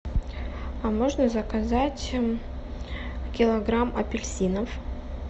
а можно заказать килограмм апельсинов